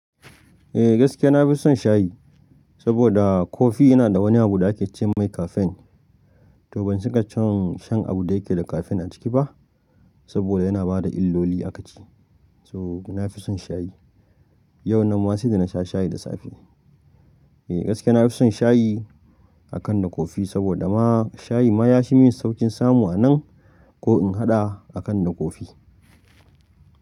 Eh gaskiya na fi son shayi, saboda kofi yana da wani abu da ake ce mai kafen. To ban cika son shan abun da yake da kafen a ciki ba, saboda yana bada illoli a ka ce. Toh na fi son shayi. Yau nan ma sai da na sha shayi da safe. Eh gaskiya na fi son shayi akan da kofi, saboda ma shayi ma ya shi min saukin samu a nan ko in haɗa akan na kofi.